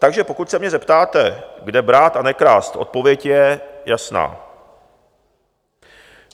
Takže pokud se mě zeptáte, kde brát a nekrást, odpověď je jasná.